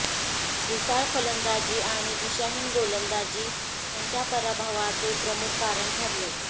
ढिसाळ फलंदाजी आणि दिशाहीन गोलंदाजी त्यांच्या पराभवाचे प्रमुख कारण ठरले